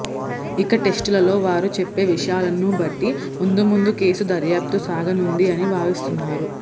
ఇక టెస్ట్ లలో వారు చెప్పే విషయాలను బట్టి ముందు ముందు కేసు దర్యాప్తు సాగనుంది అని భావిస్తున్నారు